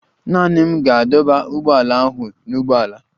Naanị m ga-adọba ụgbọala ahụ n'ụgbọala.